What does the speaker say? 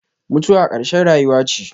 Mutuwa ƙarshen rayuwa ce.